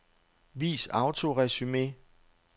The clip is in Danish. Vis autoresumé.